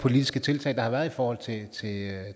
politiske tiltag der har været i forhold